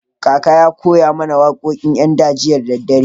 Kakan mu ya koya mana wakokin yan da jiya dare.